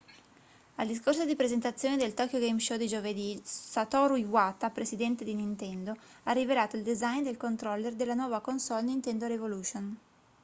al discorso di presentazione del tokyo game show di giovedì satoru iwata presidente di nintendo ha rivelato il design del controller della nuova console nintendo revolution